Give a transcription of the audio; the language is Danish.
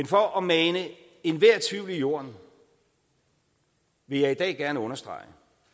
for at mane enhver tvivl i jorden vil jeg i dag gerne understrege